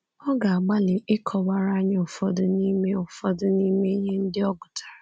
Ọ ga-agbalị ịkọwara anyị ụfọdụ n’ime ụfọdụ n’ime ihe ndị ọ gụtara.